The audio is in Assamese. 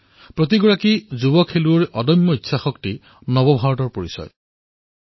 সকলো যুৱ খেলুৱৈৰ উদ্দীপনা নতুন ভাৰতৰ পৰিচয়স্বৰূপ